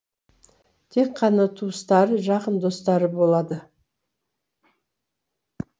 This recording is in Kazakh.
тек қана туыстары жақын достары болады